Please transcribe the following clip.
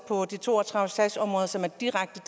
på de to og tredive sagsområder som er direkte